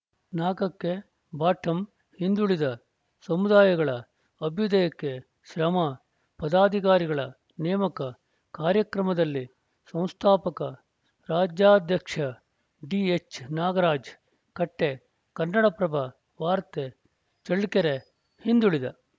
ನಾಲ್ಕ ಕ್ಕೆಬಾಟಮ್‌ಹಿಂದುಳಿದ ಸಮುದಾಯಗಳ ಅಭ್ಯುದಯಕ್ಕೆ ಶ್ರಮ ಪದಾಧಿಕಾರಿಗಳ ನೇಮಕ ಕಾರ್ಯಕ್ರಮದಲ್ಲಿ ಸಂಸ್ಥಾಪಕ ರಾಜ್ಯಾಧ್ಯಕ್ಷ ಡಿಎಚ್‌ನಾಗರಾಜ್ ಕಟ್ಟೆ ಕನ್ನಡಪ್ರಭ ವಾರ್ತೆ ಚಳ್ಳಕೆರೆ ಹಿಂದುಳಿದ